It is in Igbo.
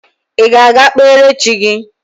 Ị ga-aga kpere chi gị?